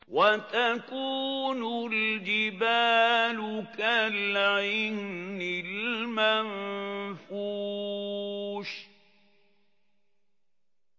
وَتَكُونُ الْجِبَالُ كَالْعِهْنِ الْمَنفُوشِ